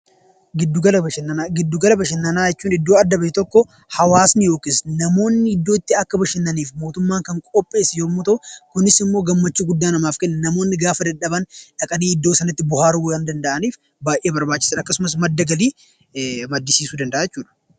Giddugala bashannanaa Giddugala bashannanaa jechuun iddoo adda bahe tokko hawaasni yookiis namoonni iddoo itti bashannananiif mootummaan qopheesse yomuu ta'uu, kunis immoo gammachuu guddaa namaaf kenna. Namoonni gaafa dadhaban dhaqanii iddoo sanatti bohaaruu waan danda'aniif baay'ee barbaachisaa dha. Akkasumas madda galii maddisiisuu danda'a jechuu dha.